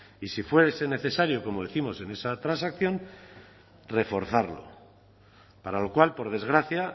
y si fuese necesario como décimos en esa transacción reforzarlo para lo cual por desgracia